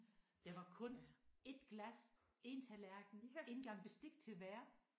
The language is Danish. Der var kun 1 glas 1 tallerken 1 gang bestik til hver